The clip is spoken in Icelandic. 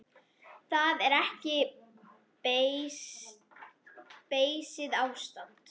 Það er ekki beysið ástand.